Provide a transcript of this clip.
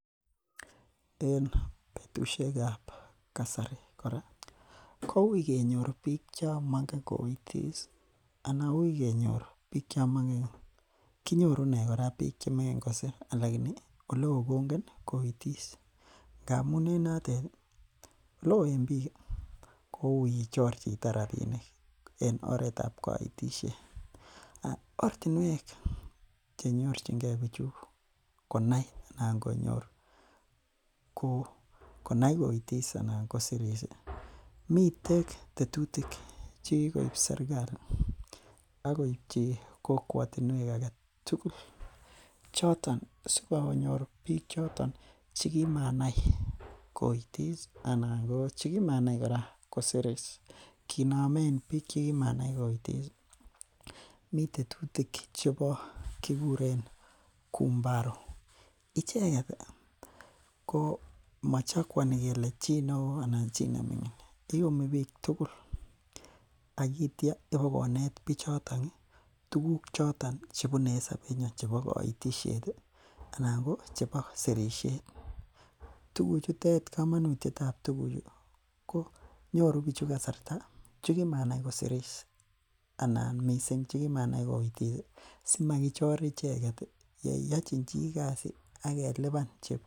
En betusiek kab kasari kora ih , koui kenyor bik chemaingen koitis anan anan uui kenyor bik chemaingen kosir alaini ih oleoo kongen koitis ngamu6en notet ih oleoo en bik ih kouui ichor chito rabinik en oretab kanitishet,. Ortinuek chenyorchike. Bichu konai Anan konyor ko konai koitis anan kosiris ih miten tetutik chekib serkali akoi hi kokwautinuek agetugul choton sikonyor bik choton chegimanai koitis ih anan chekimanai kora kosiris. Kora mi tetutik chebo kikuren kumbaro icheket ih ko machakoani kele chi neoo anan chi neming'in. Iumi bik tugul aitia iboko net bichoton ih tuguk choton chebune en sabet nyuan chebo kanitishet ih anan anan ko chebo sirisiet. Tuguchutet anan kamanutiet tab tukuchu konyoru bichu kasarta neki maanai kosiris anan missing chekimanai koitis ih simakochor icheket ih yeyachin chi Kasi ageluban